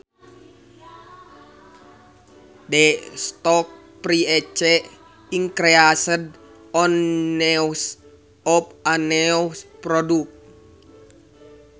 The stock price increased on news of a new product